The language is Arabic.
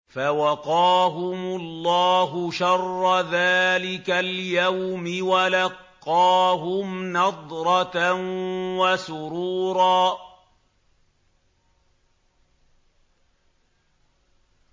فَوَقَاهُمُ اللَّهُ شَرَّ ذَٰلِكَ الْيَوْمِ وَلَقَّاهُمْ نَضْرَةً وَسُرُورًا